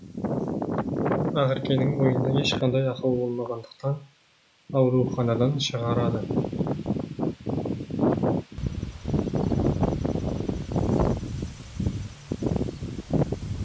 ақеркенің бойында ешқандай ақау болмағандықтан ауруханадан шығарады